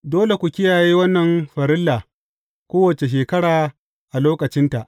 Dole ku kiyaye wannan farilla kowace shekara a lokacinta.